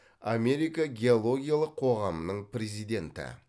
америка геологиялық қоғамының президенті